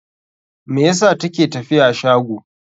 Me yasa ta ke tafiya shago?